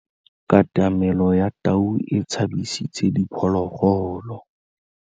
Katamêlô ya tau e tshabisitse diphôlôgôlô.